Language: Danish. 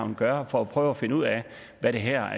vil gøre for at prøve at finde ud af hvad det her